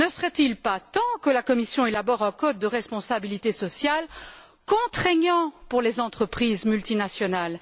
Ne serait il pas temps que la Commission élabore un code de responsabilité sociale contraignant pour les entreprises multinationales?